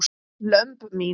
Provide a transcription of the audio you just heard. lömb mín.